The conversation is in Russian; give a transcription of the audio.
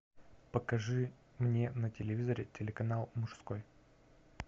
покажи мне на телевизоре телеканал мужской